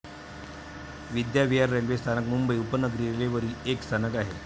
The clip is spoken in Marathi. विद्याविहार रेल्वे स्थानक मुंबई उपनगरी रेल्वेवरील एक स्थानक आहे.